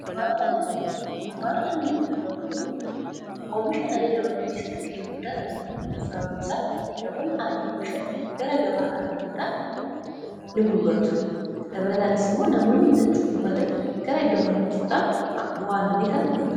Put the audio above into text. Dunkaana aannanii gurguran kuni omisha aannanii dabaluu keessatti ga'ee guddaa tabatu .sababnisaas namoonni annan oomishan gara gabaa kana fiduudhaan ni gurguratu . dabalataanis immoo namoonni bitachuu barbaadan gara iddoo kanan dhufuudhaan bu'aa aannannii kana dhugatu.